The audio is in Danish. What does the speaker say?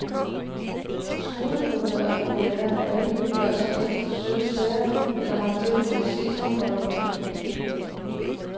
Skoleboder er populære, hvad enten de gør sig mest i søde sager eller har tilbud i sesamboller med fyld.